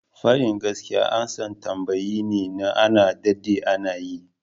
Fadi gaskiya amsan tambaye ne na a ɗadde ana yi.